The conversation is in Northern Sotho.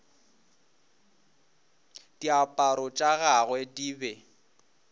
diaparo tša gagwe di be